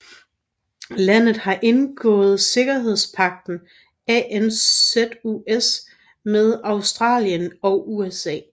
Landet har indgået sikkerhedspagten ANZUS med Australien og USA